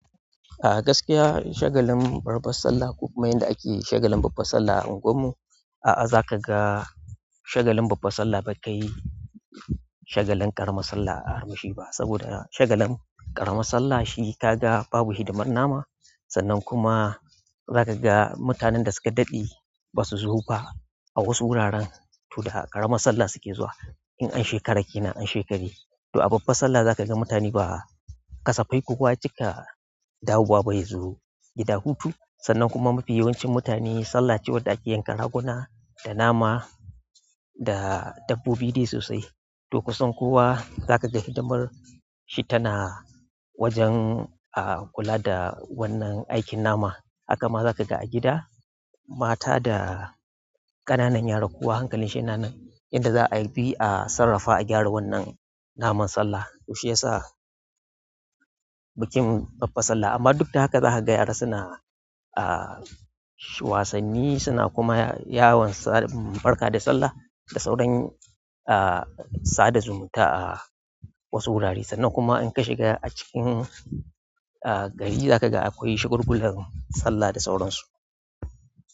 A gaskiya shagalin babbar sallah ko kuma yanda ake shagalin babbar sallah a unguwarmu, a'a za ka ga shagalin babbar sallah bai kai shagalin ƙaramar sallah armashi ba. Saboda shagalin ƙaramar sallah shi ka ga babu hidimar nama sannan kuma zaka ga mutanen da suka daɗe basu zo ba a wasu wuraren toh da ƙaramar sallah suke zuwa in an shekara kenan a shekari to a babbar sallah za ka ga mutane ba ƙasafai kowa ya cika dawowa ba ya zo gida hutu sannan kuma mafi yawancin mutane sallaci wadda ake yanka raguna da nama da dabbobi dai sosai to kusan kowa zaka ga hidimar shi tana wajen kula da wannan aikin nama. Haka ma za ka ga a gida mata da ƙanan yara kowa hankalinshi yana nan yadda za'ayi a bi a sarrafa a gyara wannan naman sallah toh shiyasa bikin babban sallah amma duk da haka za ka ga yara suna wasanni suna kuma yawon barka da sallah da sauran sada zumunta a wasu wurare sannan kuma in ka shiga a cikin gari zakaga akwai shagulgulan sallah da sauransu.